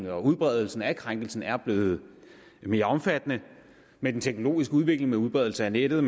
at udbredelsen af krænkelsen er blevet mere omfattende med den teknologiske udvikling med udbredelsen af nettet